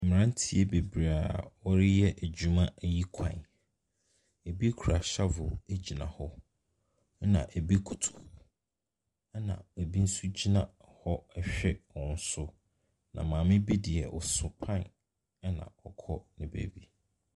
Mmranteɛ bebree a wɔreyɛ adwuma ayi kwan . Ebi kura shavel gyina hɔ. Ebi koto hɔ. Ɛna ei nso gyina hɔ rehwɛ wɔ so. Na maame bi deɛ ɔso pan na ɛrehwɛ ne baabi.